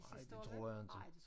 Nej det tror jeg inte